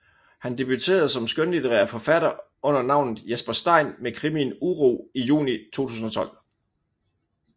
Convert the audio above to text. Han debuterede som skønlitterær forfatter under navnet Jesper Stein med krimien Uro i juni 2012